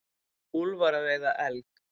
Úlfar að veiða elg.